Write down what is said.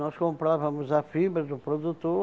Nós compravamos a fibra do produtor,